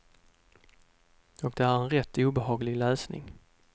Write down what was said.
Och det är en rätt obehaglig läsning.